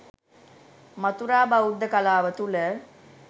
මථුරා බෞද්ධ කලාව තුළ